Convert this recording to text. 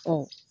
Ɔ